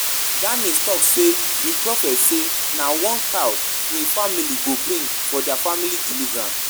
Dennis talk say the prophet say na one cow im family go bring for dia family deliverance